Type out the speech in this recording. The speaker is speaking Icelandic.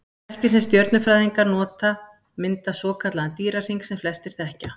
Merkin sem stjörnufræðingar nota mynda svokallaðan Dýrahring sem flestir þekkja.